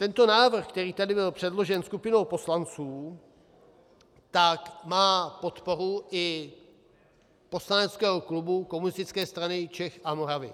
Tento návrh, který tady byl předložen skupinou poslanců, tak má podporu i poslaneckého klubu Komunistické strany Čech a Moravy.